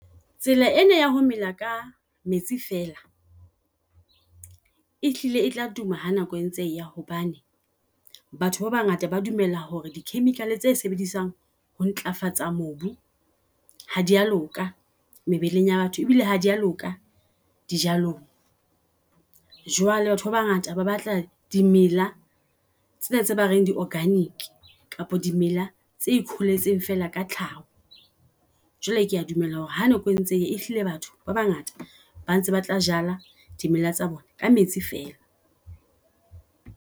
Tsela ena ya ho mela ka metsi fela e hlile e tla tuma ha nako e ntse e hobane batho ba bangata ba dumella hore di chemical tse sebedisang ho ntlafatsa mobu ha dia loka mebileng ya batho. E bile ha dia loka di jalong. Jwale batho ba bangata ba batla di mela tsena tse ba reng di organic kapa dimela tse kholetseng fela ka tlhaho. Jwale, kea dumela hore ha nako e ntse e hlile, batho ba bangata ba ntse ba tla jala dumela tsa bona ka metsi fela.